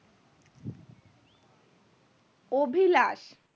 Abhilash